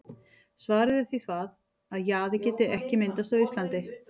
Svarið er því það, að jaði geti ekki myndast á Íslandi.